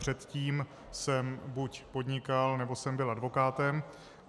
Předtím jsem buď podnikal, nebo jsem byl advokátem.